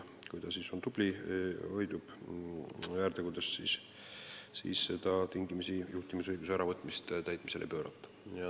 Kui ta on tubli ja hoidub väärtegudest, siis juhtimisõiguse tingimisi äravõtmist täitmisele ei pöörata.